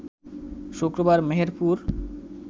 শুক্রবার মেহেরপুর